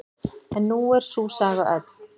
En nú er sú saga öll.